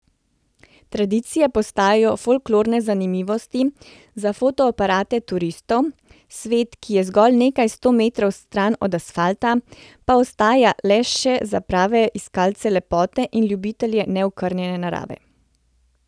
Tradicije postajajo folklorne zanimivosti za fotoaparate turistov, svet, ki je zgolj nekaj sto metrov stran od asfalta, pa ostaja le še za prave iskalce lepote in ljubitelje neokrnjene narave.